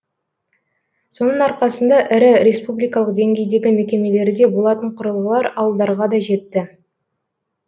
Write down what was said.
соның арқасында ірі республикалық деңгейдегі мекемелерде болатын құрылғылар ауылдарға да жетті